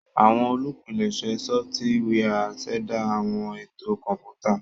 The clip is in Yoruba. Awọn olupilẹṣẹ sọfitiwia ṣẹda awọn eto kọnputa.